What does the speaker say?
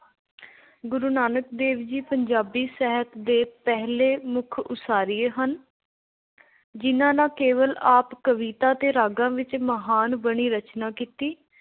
ਗੁਰੂ ਨਾਨਕ ਦੇਵ ਜੀ ਪੰਜਾਬੀ ਸਾਹਿਤ ਦੇ ਪਹਿਲੇ ਮੁੱਖ ਉਸਾਰੀਏ ਹਨ। ਜਿੰਨ੍ਹਾ ਨਾ ਕੇਵਲ ਆਪ ਕਵਿਤਾ ਅਤੇ ਰਾਗਾਂ ਵਿੱਚ ਮਹਾਨ ਬਾਣੀ ਰਚਨਾ ਕੀਤੀ।